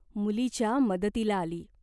मुलीच्या मदतीला आली.